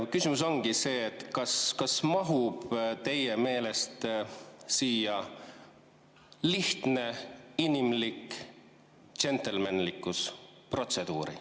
Küsimus ongi see: kas mahub teie meelest sellesse protseduuri ka lihtne, inimlik džentelmenlikkus?